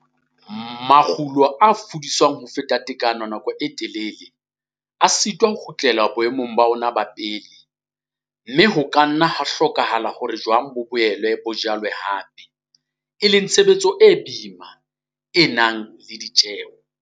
Makgulo a fudiswang ho feta tekano nako e telele, a sitwa ho kgutlela boemong ba ona ba pele, mme ho ka nna ha hlokahala hore jwang bo boele bo jalwe hape, e leng tshebetso e boima, e nang le ditjeo.